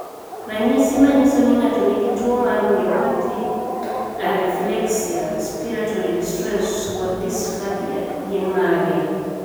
Ranyisi manyiso ni ng'ato nigi tuwo mar myopathy, areflexia, respiratory distress kod dysphagia gin mage?